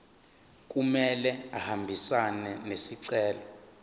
kumele ahambisane nesicelo